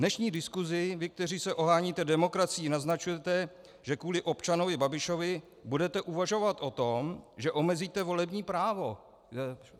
Dnešní diskusí vy, kteří se oháníte demokracií, naznačujete, že kvůli občanovi Babišovi budete uvažovat o tom, že omezíte volební právo.